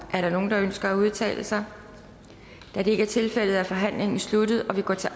er der nogen der ønsker at udtale sig da det ikke er tilfældet er forhandlingen sluttet og vi går til